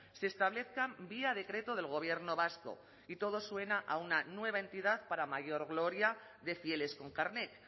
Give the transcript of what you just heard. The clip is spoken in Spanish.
se establezcan vía decreto del gobierno vasco y todo suena a una nueva entidad para mayor gloria de fieles con carnet